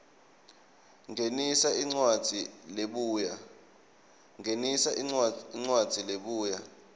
ngenisa incwadzi lebuya